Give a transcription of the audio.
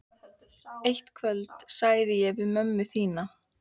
Eitt kvöldið sagði ég við mömmu þína